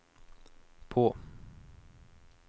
på